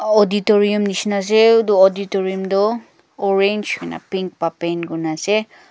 auditorium nishina ase utu auditorium toh orange hoina pink pa paint kurna ase.